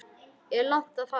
Er langt að fara?